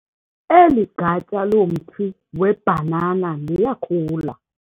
Eli gatya lomthi weebhanana liyakhula.